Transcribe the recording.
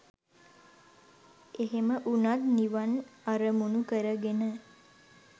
එහෙම උනත් නිවන් අරමුනු කරගෙන